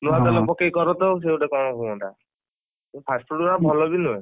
ନୂଆ ତେଲ ପକେଇ କରନ୍ତ ସେ ଗୋଟେ କଣ ହୁଅନ୍ତା? ସେ fast food ଅରା ଭଲ ବି ନୁହେ।